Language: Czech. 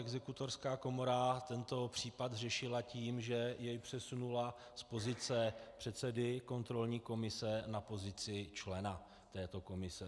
Exekutorská komora tento případ řešila tím, že jej přesunula z pozice předsedy kontrolní komise na pozici člena této komise.